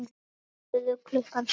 Þau borðuðu klukkan sjö.